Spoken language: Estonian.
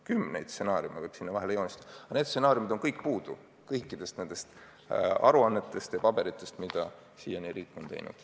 Kümneid stsenaariume võiks sinna vahele joonistada, aga need stsenaariumid on kõik puudu kõikides nendes aruannetes ja muudes paberites, mis riik siiani on teinud.